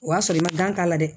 O y'a sɔrɔ i ma gan k'a la dɛ